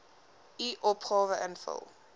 u opgawe invul